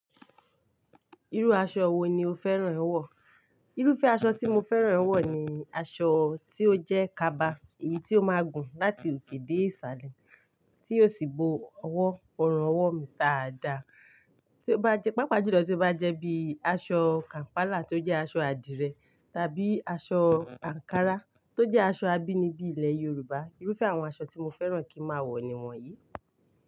Irú aṣọ wo ni o fẹ́ràn ẹ wọ̀? Irúfẹ́ aṣọ tí mo fẹ́ràn ẹ wọ̀ ni aṣọ tí ó jẹ́ kaba, èyí tí ó máa gùn láti òkè dé ìsàlẹ̀ tí ó sì bo ọwọ́, ọrùn ọwọ́ mi dà á dà. Tí ó bá jẹ́, pàápàá jùlọ tí ó bá jẹ́ bí i aṣọ kàm̀pálà tó jẹ́ aṣọ adìrẹ tàbí aṣọ ànkárà tó jẹ́ aṣọ abínibí ilẹ̀ Yorùbá. Irúfẹ́ àwọn aṣọ tí mo fẹ́ràn kí n máa wọ̀ ni wọ́n yìí.